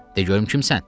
De görüm kimsən?